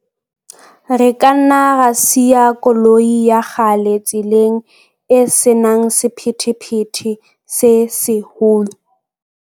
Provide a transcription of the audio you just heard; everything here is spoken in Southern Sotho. Re ka nna ra siya koloi ya kgale tseleng e se nang sephethephethe se seholo.